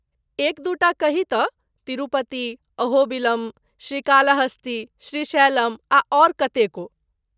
एक दू टा कही तँ तिरुपति, अहोबिलम, श्रीकालाहस्ती, श्रीशैलम आ आओर कतेको ।